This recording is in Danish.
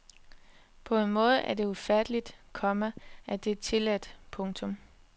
På en måde er det ufatteligt, komma at det er tilladt. punktum